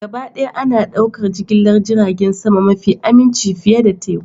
Gabaɗaya ana ɗaukar jigilar jiragen sama mafi aminci fiye da teku